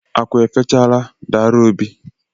Akụ efechala, dara obi